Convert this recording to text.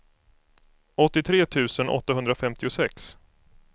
åttiotre tusen åttahundrafemtiosex